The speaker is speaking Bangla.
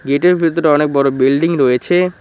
এটার ভিতরে অনেক বড় বিল্ডিং রয়েছে।